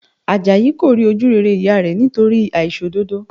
Àjàyí kò rí ojú rere ìyá rẹ̀ nítorí àìṣòdodo